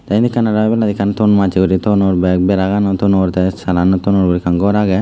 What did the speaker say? tey eyan ekan ebaladi ton massey ton back bera tonon sanagan tonon guri ekan gor agey.